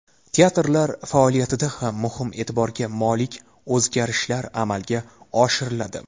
Teatrlar faoliyatida ham muhim, e’tiborga molik o‘zgarishlar amalga oshiriladi.